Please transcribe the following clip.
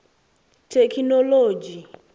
thekhinolodzhi